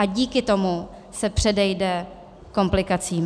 A díky tomu se předejde komplikacím.